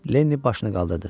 Leni başını qaldırdı.